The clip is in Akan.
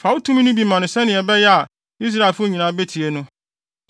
Fa wo tumi no bi ma no sɛnea ɛbɛyɛ a Israelfo nyinaa betie no.